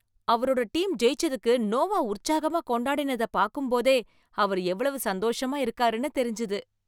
அவரோட டீம் ஜெயிச்சதுக்கு நோவா உற்சாகமா கொண்டாடினதப் பாக்கும்போதே அவர் எவ்வளவு சந்தோஷமா இருக்காருன்னு தெரிஞ்சுது.